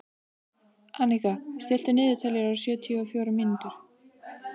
Anika, stilltu niðurteljara á sjötíu og fjórar mínútur.